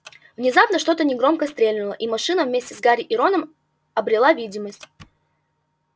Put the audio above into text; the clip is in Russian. внезапно что-то негромко стрельнуло и машина вместе с гарри и роном обрела видимость